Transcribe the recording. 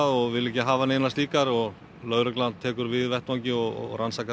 og vil ekki hafa neinar slíkar lögregla tekur við vettvangi og rannsakar